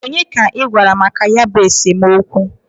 Onye ka I gwara maka ya bụ esemokwu?